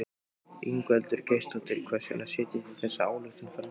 Ingveldur Geirsdóttir: Hvers vegna setjið þið þessa ályktun fram?